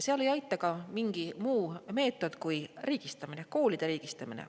Seal ei aita mingi muu meetod kui riigistamine, koolide riigistamine.